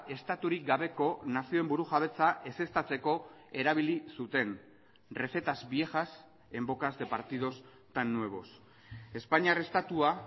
estaturik gabeko nazioen burujabetza ezeztatzeko erabili zuten recetas viejas en bocas de partidos tan nuevos espainiar estatua